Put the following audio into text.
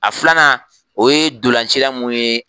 A filanan o ye dulancila mun ye